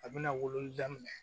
A bɛna wololi daminɛ